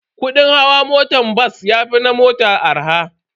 Kudin hawan motan bas yafi na mota arha.